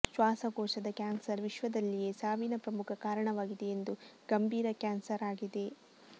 ಶ್ವಾಸಕೋಶದ ಕ್ಯಾನ್ಸರ್ ವಿಶ್ವದಲ್ಲಿಯೇ ಸಾವಿನ ಪ್ರಮುಖ ಕಾರಣವಾಗಿದೆ ಎಂದು ಗಂಭೀರ ಕ್ಯಾನ್ಸರ್ ಆಗಿದೆ